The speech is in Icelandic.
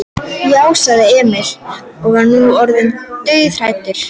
Já, sagði Emil og var nú orðinn dauðhræddur.